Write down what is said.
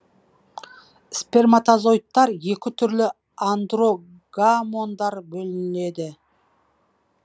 сперматозоидтар екі түрлі андрогамондар бөледі